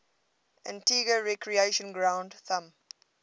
antigua recreation ground thumb